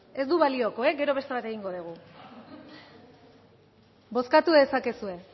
ez du balioko e gero beste bat egingo dugu bozkatu dezakezue